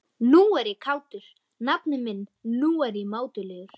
Nú er ég kátur, nafni minn, nú er ég mátulegur.